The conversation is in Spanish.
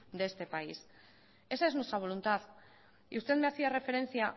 de este país esa es nuestra voluntad y usted me hacía referencia